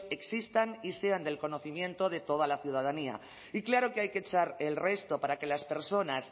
existan y sean del conocimiento de toda la ciudadanía y claro que hay que echar el resto para que las personas